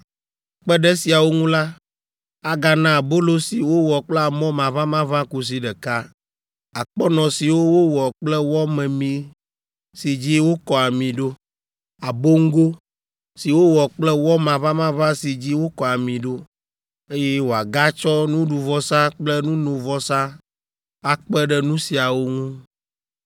Kpe ɖe esiawo ŋu la, agana abolo si wowɔ kple amɔ maʋamaʋã kusi ɖeka, akpɔnɔ siwo wowɔ kple wɔ memee si dzi wokɔ ami ɖo, aboŋgo si wowɔ kple wɔ maʋamaʋã si dzi wokɔ ami ɖo, eye wòagatsɔ nuɖuvɔsa kple nunovɔsa akpe ɖe nu siawo ŋu.